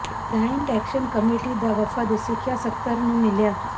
giant action committee ਦਾ ਵਫ਼ਦ ਸਿੱਖਿਆ ਸਕੱਤਰ ਨੂੰ ਮਿਲਿਆ